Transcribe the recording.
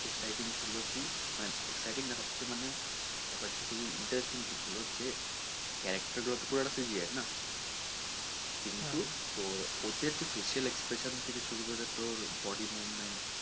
exciting ছিল কি না exciting মানে হচ্ছে মানে ব্যাপার টা খুবই interesting ছিলো যে character গুলো তো পুরো CGI না কিন্তু তোর ওতে হচ্ছে facial expression থেকে শুরু করে body movement